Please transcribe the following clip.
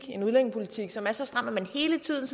en udlændingepolitik som er så stram at man hele tiden